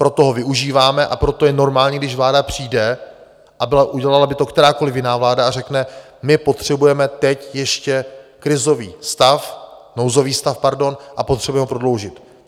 Proto ho využíváme a proto je normální, když vláda přijde, a udělala by to kterákoli jiná vláda, a řekne: My potřebujeme teď ještě krizový stav, nouzový stav, pardon, a potřebujeme ho prodloužit.